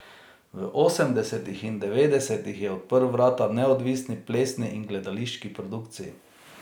V osemdesetih in devetdesetih je odprl vrata neodvisni plesni in gledališki produkciji.